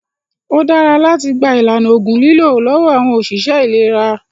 Ó dára láti gba ìlànà ògùn lílò lọ́wọ́ àwọn ọ̀ṣìṣẹ́ ìlera